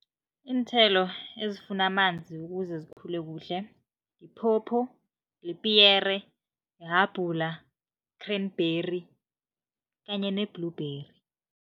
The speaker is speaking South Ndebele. Iinthelo ezifuna amanzi ukuze zikhule kuhle, yiphopho, lipiyere, ihabhula, cranberry kanye ne-bleUberry.